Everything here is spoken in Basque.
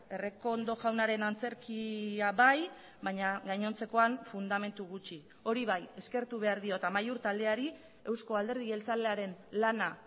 errekondo jaunaren antzerkia bai baina gainontzekoan fundamentu gutxi hori bai eskertu behar diot amaiur taldeari euzko alderdi jeltzalearen lana